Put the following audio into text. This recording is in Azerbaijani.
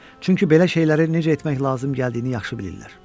Çünki belə şeyləri necə etmək lazım gəldiyini yaxşı bilirlər.